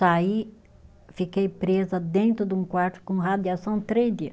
Saí, fiquei presa dentro de um quarto com radiação três dia.